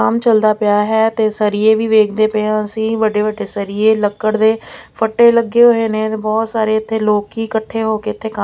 ਕੰਮ ਚਲਦਾ ਪਿਆ ਹੈ ਤੇ ਸਰੀਏ ਵੀ ਵੇਖਦੇ ਪਏ ਹਾਂ ਅਸੀਂ ਵੱਡੇ ਵੱਡੇ ਸਰੀਏ ਲੱਕੜ ਦੇ ਫੱਟੇ ਲੱਗੇ ਹੋਏ ਨੇਂ ਤੇ ਬਹੁਤ ਸਾਰੇ ਇੱਥੇ ਲੋਕੀ ਇਕੱਠੇ ਹੋਕੇ ਇੱਥੇ ਕੰਮ--